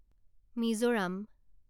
Mizoram